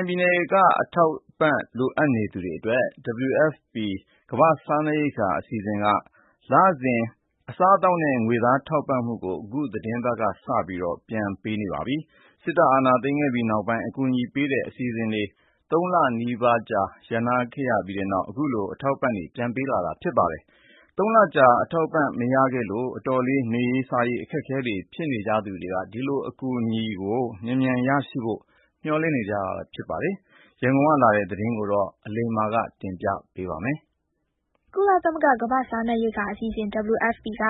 င်ပြည်နယ်က အထောက်အပံ့လိုအပ်နေသူတွေအတွက် WFP ကမ္ဘာ့စားနပ်ရိက္ခာအစီအစဉ်က လစဉ် အစားအသောက်နဲ့ ငွေသားထောက်ပံ့မှုကို အခုသီတင်းပါတ်က စပြီး ပြန်လည်ပေးနေပါပြီ။ စစ်တပ်အာဏာသိမ်းခဲ့ပြီးနောက် အကူအညီပေးတဲ့ အစီအစဉ်တွေ သုံးလနီးပါး ရပ်တန့်ရာကနေ အခုလို အထောက်အပံ့ ပြန်ပေးတာဖြစ်ပါတယ်။ ၃ လကြာ အထောက်အပံံ့တွေ မရခဲ့လို့ အတော်လေး နေရေး စားရေး အခက်အခဲတွေဖြစ်နေသူတွေ အကူအညီ မြန်မြန်ရဖို့မေ ျှာ်လင့်နေကြပါတယ်။ ရန်ကုန်ကလာတဲ့ ဒီသတင်းကို အလိမ္မာကတင်ပြပါမယ်။ ကုလသမဂ္ဂ ကမ္ဘာ့စားနပ်ရိက္ခာအစီအစဉ် WFP က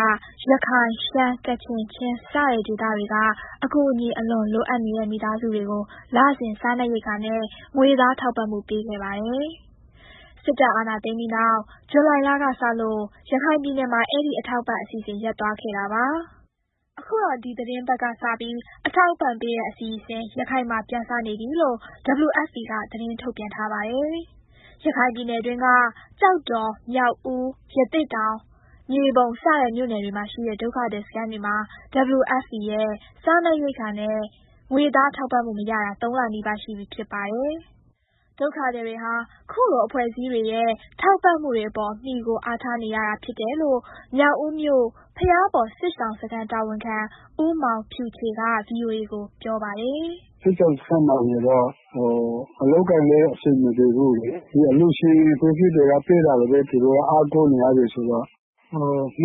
ရခိုင်၊ ရှမ်း၊ ကချင်၊ ချင်း စတဲ့ဒေသတွေက အကူအညီအလွန်လိုအပ်နေတဲ့ မိသားစုတွေကို လစဉ် စားနပ်ရိက္ခာနဲ့ငွေသားထောက်ပံ့မှုပေးတဲ့ အစီအစဉ်လုပ်ပါတယ်။ စစ်တပ်အာဏာသိမ်းပြီးနောက် ဇူလိုင်လကစလို့ ရခိုင်ပြည်နယ်မှာ အဲဒီအထောက်အပံ့ အစီအစဉ်ရပ်သွားခဲ့တာပါ။ အခုတော့ ဒီသီတင်းပတ် ကစလို့ အထောက်အပံ့ပေးတဲ့ အစီအစဉ် ရခိုင်မှာ ပြန်စနေပြီလို့ WFP ကသတင်းထုတ်ပြန်ပါတယ်။ ရခိုင်ပြည်နယ်တွင်းက ကျောက်တော်၊ မြောက်ဦး၊ ရသေ့တောင်၊ မြေပုံ စတဲ့မြို့နယ်တွေမှာရှိတဲ့ ဒုက္ခသည်စခန်းတွေမှာ WFP ရဲ့စားနပ်ရိက္ခာနဲ့ ငွေသား ထောက်ပံ့မှု မရတာ ၃ လ နီးပါးရှိပြီ ဖြစ်ပါတယ်။ ဒုက္ခသည်တွေဟာ ခုလို အဖွဲ့အစည်းတွေရဲ့ ထောက်ပံ့မှုတွေအပေါ် မှီခိုအားထားနေရတာဖြစ်တယ်လို့ မြောက်ဦးမြို့ ဘုရားပေါ်စစ်ရှောင်စခန်းတာဝန်ခံ ဦးမောင်ဖြူချေ က ဗွီအိုအေကို ပြောပါတယ်။ “စစ်ရှောင်စခန်းမှာဆိုတော့ အလုပ်အကိုင်လည်း အဆင်မပြေဘူးလေး ဒီအလှူအဖွဲ့အစည်းတွေက ပေးတဲ့တာပဲ သူတို့ကအားကိုးနေရတယ်ဆိုတော့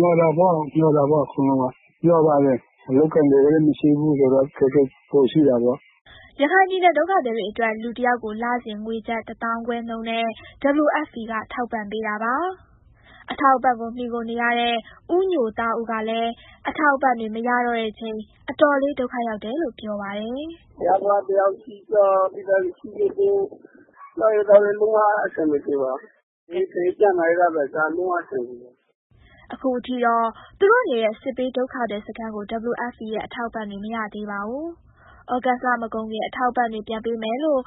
(WFP) ကို ဟို… လမျှော်တာပေါ့ သူတို့က မျှော်ပါတယ်၊ အလုပ်အကိုင်တွေလည်း မရှိဘူးဆိုတော့ အခက်အခဲပိုရှိတာပေါ့။” ရခိုင်ပြည်နယ် ဒုက္ခသည်တွေအတွက် လူတယောက်ကို လစဉ် ငွေကျပ် ၁၅,၀၀၀ နှုန်းနဲ့ WFP က ထောက်ပံ့ပေးပါတယ်။ အထောက်အပံ့ကို မှီခိုနေရတဲ့ ဦးညိုသားဦးကလည်း အထောက်အပံ့တွေ မရေတော့ချိန် အတော်လေး ဒုက္ခရောက်တယ်လို့ ပြောပြပါတယ်။ “တစ်ယောက်နဲ့ တစ်ယောက် ချေးငှားစားကြ ရှိတဲ့လူဆီတွေပေါ့။ စားရေးသောက်ရေး လုံးဝအဆင်မပြေပါ နေထိုင် ကျန်းမာရေးကအစ ဒါလုံးဝ အဆင်မပြေပါ။” အခုအထိတော့ သူတို့နေတဲ့ စစ်ဘေးဒုက္ခသည်စခန်းကို WFP ရဲ့ အထောက်အပံ့တွေ မရသေးပါဘူး။ သြဂုတ်လ မကုန်ခင် အထောက်အပံ့တွေ ပြန်ပေးမယ်လို့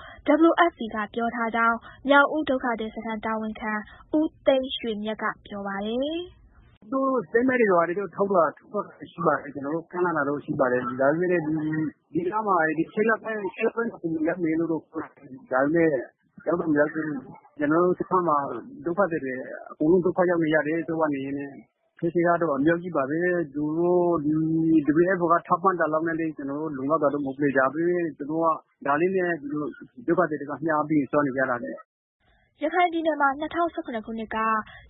WFP ကပြောထားကြောင်း မြောက်ဦးဒုက္ခသည်စခန်းတာဝန်ခံ ဦးသိန်းရွှေမြတ်ကပြောပါတယ်။ “သူတို့ (WFP) statement တွေ ဘာတွေထုတ်တာ ထုတ်ထားတာရှိပါတယ်။ ကျနော်တို့ကို ကမ်းလှမ်းတာတော့ ရှိပါတယ်။ ဒါပေမယ့် သူတို့ ဒီလမှာ ၈ လပိုင်းမကုန်ခင် ရောက်မယ်လို့တော့ ပြောထားတယ်။ ဒါပေမယ့် ရောက်တော့ မရောက်သေးဘူး၊ ကျနော်တို့ စခန်းမှာ ဒုက္ခသည်တွေ အကုန်လုံး ဒုက္ခရောက်နေရတယ်။ အခက်အခဲကတော့ အများကြီးပါပဲ သူတို့ WFP က ထောက်ပံ့တာလောက်နဲ့လည်း ကျနော်တို့က လောက်လုံတာတော့ မဟုတ်ဘူးလေ။ ဒါပေမယ့် သူတို့က ဒါလေးနဲ့ သူတို့ဒုက္ခသည်တွေက မျှပြီးစားနေကြတာလေး။” ရခိုင်ပြည်နယ်မှာ ၂၀၁၇ ခုနှစ်က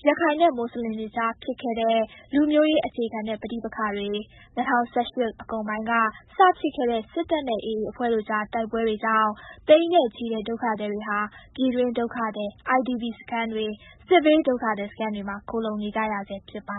ရခိုင်နဲ့မွတ်ဆလင်တွေကြားဖြစ်ခဲ့တဲ့ လူမျိုးရေးအခြေခံတဲ့ ပဋိပက္ခတွေ၊ ၂၀၁၈ အကုန်ပိုင်းကစဖြစ်ခဲ့တဲ့ စစ်တပ်နဲ့ AA အဖွဲ့တို့ကြား တိုက်ပွဲတွေကြောင့် သိန်းနဲ့ချီတဲ့ ဒုက္ခသည်တွေဟာ ပြည်တွင်းဒုက္ခသည် IDP စခန်းတွေ စစ်ဘေးဒုက္ခသည်စခန်းတွေမှာ ခိုလှုံနေကြဆဲဖြစ်ပါ